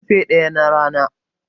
ƙarfe ɗaya na Rana